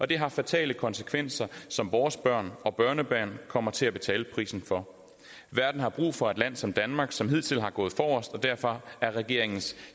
det har fatale konsekvenser som vores børn og børnebørn kommer til at betale prisen for verden har brug for et land som danmark som hidtil er gået forrest og derfor er regeringens